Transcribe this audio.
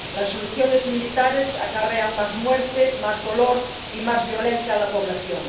Las soluciones militares acarrean más muerte, más dolor y más violencia a la población.